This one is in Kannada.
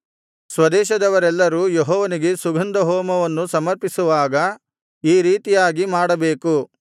ಸ್ವದೇಶದವರೆಲ್ಲರೂ ಯೆಹೋವನಿಗೆ ಸುಗಂಧ ಹೋಮವನ್ನು ಸಮರ್ಪಿಸುವಾಗ ಈ ರೀತಿಯಾಗಿ ಮಾಡಬೇಕು